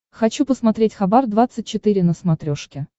хочу посмотреть хабар двадцать четыре на смотрешке